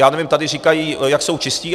já nevím, tady říkají, jak jsou čistí.